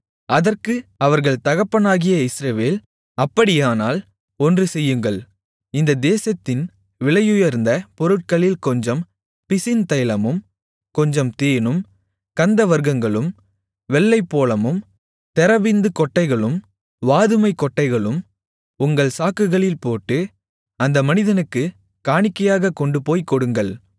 அதற்கு அவர்கள் தகப்பனாகிய இஸ்ரவேல் அப்படியானால் ஒன்று செய்யுங்கள் இந்த தேசத்தின் விலையுயர்ந்த பொருட்களில் கொஞ்சம் பிசின் தைலமும் கொஞ்சம் தேனும் கந்தவர்க்கங்களும் வெள்ளைப்போளமும் தெரபிந்து கொட்டைகளும் வாதுமைக்கொட்டைகளும் உங்கள் சாக்குகளில் போட்டு அந்த மனிதனுக்குக் காணிக்கையாகக் கொண்டுபோய்க் கொடுங்கள்